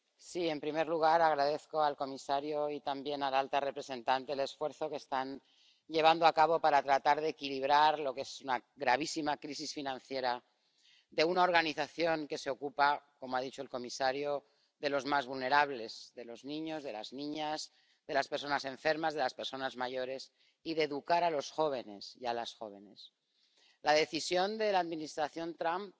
Señor presidente, en primer lugar, agradezco al comisario y también a la alta representante el esfuerzo que están llevando a cabo para tratar de equilibrar lo que es una gravísima crisis financiera de una organización que se ocupa, como ha dicho el comisario, de los más vulnerables —de los niños, de las niñas, de las personas enfermas, de las personas mayores— y de educar a los jóvenes y a las jóvenes. La decisión de la Administración Trump